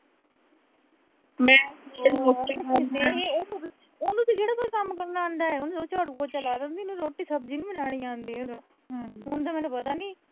ਉਹਨੂੰ ਤਾਂ ਕਿਹੜਾ ਕੋਈ ਕੰਮ ਕਰਨਾ ਆਉਂਦਾ। ਉਹਨੂੰ ਝਾੜੂ-ਪੋਚਾ ਲਾ ਲੈਂਦੀ, ਰੋਟੀ-ਸਬਜ਼ੀ ਨੀਂ ਲੈਣੀ ਆਉਂਦੀ ਉਹਨੂੰ ਹੁਣ ਤੇ ਮੈਨੂੰ ਪਤਾ ਨੀਂ